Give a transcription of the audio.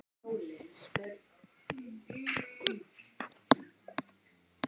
Þetta eru tvö gerólík mál